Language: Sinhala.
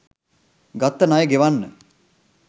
ගත්ත ණය ගෙවන්න.